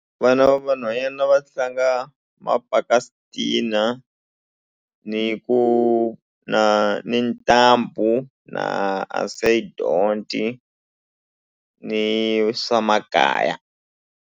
Vana va vanhwanyana va tlanga mapaka-switina ni ku na ni ntambu na ni swa makaya.